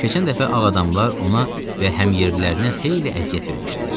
Keçən dəfə ağ adamlar ona və həmyerlilərinə xeyli əziyyət vermişdilər.